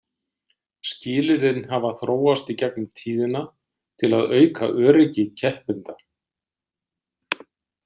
Skilyrðin hafa þróast í gegnum tíðina til að auka öryggi keppenda.